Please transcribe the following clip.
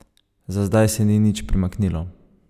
Za zdaj se ni nič premaknilo.